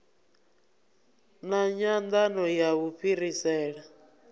na nyandano ya u fhirisela